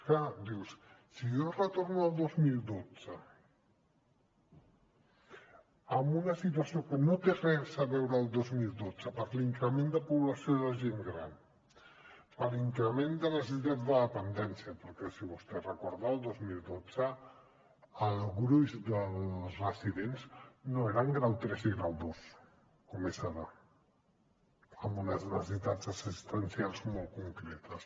clar dius si jo retorno al dos mil dotze amb una situació que no té res a veure amb el dos mil dotze per l’increment de població de gent gran per increment de necessitats de dependència perquè si vostè recorda el dos mil dotze el gruix dels residents no era grau tres i grau dos com és ara amb unes necessitats assistencials molt concretes